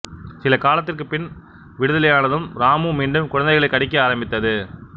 சில காலத்திற்குப்பின் விடுதலையானதும் இராமு மீண்டும் குழந்தைகளைக் கடிக்க ஆரம்பித்தது